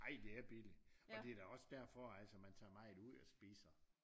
Ej det er billigt og det da også derfor man altså tager meget ud og spiser